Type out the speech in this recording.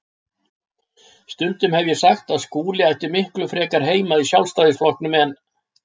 Stundum hef ég sagt að Skúli ætti miklu frekar heima í Sjálfstæðisflokknum en